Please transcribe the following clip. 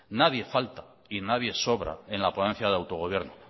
nadie falta y nadie sobra en la ponencia de autogobierno